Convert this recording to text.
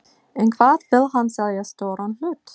En hvað vill hann selja stóran hlut?